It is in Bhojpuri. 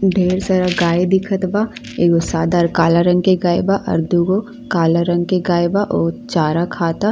ढेर सारा गाय दिखत बा। एगो सादा आर काला रंग के गाय बा और दू गो काला रंग के गाय बा। उ चारा खाता।